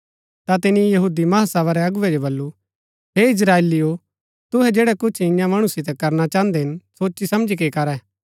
ता तिनी महासभा रै अगुवै जो बल्लू हे इस्त्राएलिओ तुहै जैड़ै कुछ ईयां मणु सितै करना चाहन्दै हिन सोची समझी के करै